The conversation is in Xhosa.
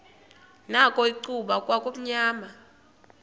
nakho icuba kwakumnyama